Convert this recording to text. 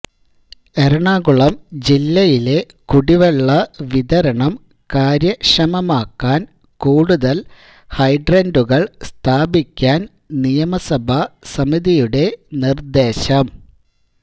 എറണാകുളം ജില്ലയിലെ കുടിവെള്ള വിതരണം കാര്യക്ഷമമാക്കാന് കൂടുതല് ഹൈഡ്രന്റുകള് സ്ഥാപിക്കാന് നിയമസഭാ സമിതിയുടെ നിര്ദേശം